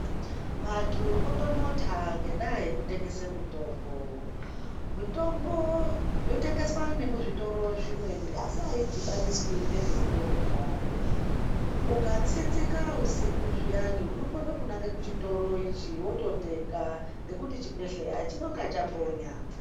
Vantu votonota ngekutengesa mitombo. Mitombo yotengeswa nemuzvitoro zvimweni asi haidhibaniswi nezvekurya ukatsinzika usikuzviyani unokona kunange kuchitoro ichi wototenga nekuti chibhedhlera chinonga chambonya.